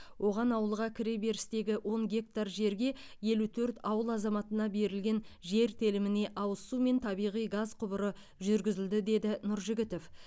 оған ауылға кіреберістегі он гектар жерге елу төрт ауыл азаматына берілген жер теліміне ауыз су мен табиғи газ құбыры жүргізілді деді нұржігітов